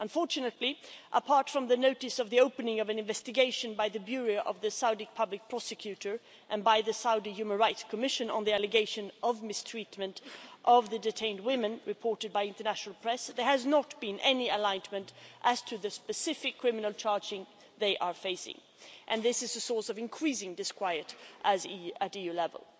Unfortunately, apart from the notice of the opening of an investigation by the Bureau of the Saudi Public Prosecutor and by the Saudi Human Rights Commission on the allegation of mistreatment of the detained women, reported by international press, there has not been any enlightenment as to the specific criminal charges they are facing. This is a source of increasing disquiet at EU level.